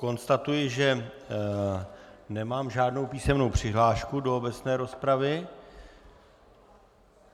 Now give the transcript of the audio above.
Konstatuji, že nemám žádnou písemnou přihlášku do obecné rozpravy.